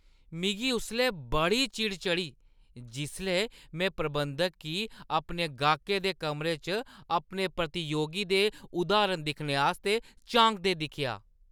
मिगी उसलै बड़ी चिढ़ चढ़ी जिसलै में प्रबंधक गी अपने गाह्‌कै दे कमरे च अपने प्रतियोगी दे उद्धरण दिक्खने आस्तै झांकदे दिक्खेआ।